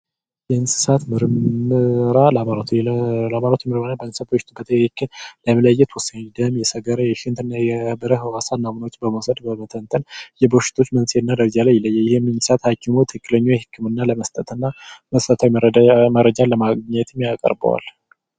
የእንስሳት ምርመራ ላቦራቶሪ የእንስሳት ምርመራ የደም የሰገራ የሽንትና የተለያዩ ሳምፕሎችን በመተንተን የበሽታውን መንስኤና ደረጃ ይለያል ይህም ሀኪሞች ትክክለኛው የህክምና ላቦራቶሪ በመስጠትና መረጃ ለማግኘት ያቀርበዋል።